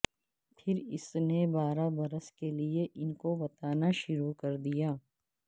پھر اس نے بارہ برس لے کر ان کو بتانا شروع کیا